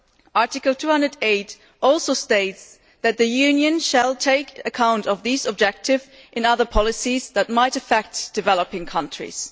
Article 208 also states that the Union shall take account of these objectives in other policies that might affect developing countries.